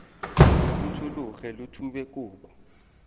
lo phuthologe lo thube kobo